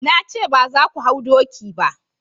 na ce ba za ku hau doki ba!